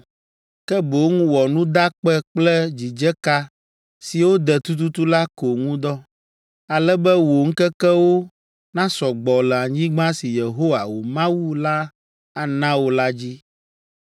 Ke boŋ wɔ nudakpe kple dzidzeka siwo de tututu la ko ŋu dɔ, ale be wò ŋkekewo nasɔ gbɔ le anyigba si Yehowa, wò Mawu la ana wò la dzi.